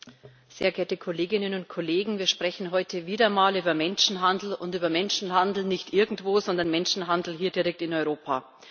Herr Präsident, sehr geehrte Kolleginnen und Kollegen! Wir sprechen heute wieder einmal über Menschenhandel, und zwar über Menschenhandel nicht irgendwo, sondern Menschenhandel hier direkt in Europa.